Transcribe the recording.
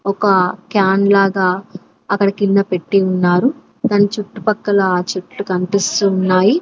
ఒక క్యాన్ లాగా అక్కడ కింద పెట్టి ఉన్నారు దాని చుట్టుపక్కల చెట్లు కన్పిస్తున్నాయి.